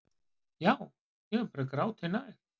Já, ég er bara gráti nær.